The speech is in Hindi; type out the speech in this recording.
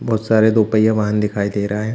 बहोत सारे दो पहिया वाहन दिखाई दे रहा है।